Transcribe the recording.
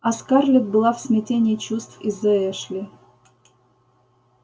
а скарлетт была в смятении чувств из-за эшли